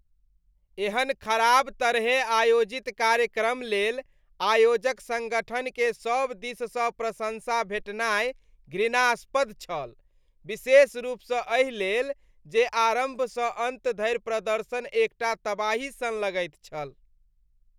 एहन खराब तरहे आयोजित कार्यक्रम लेल आयोजक सङ्गठनकेँ सभ दिससँ प्रशँसा भेटनाइ घृणास्पद छल, विशेष रूपसँ एहि लेल जे आरम्भसँ अन्त धरि प्रदर्शन एकटा तबाही सन लगैत छल।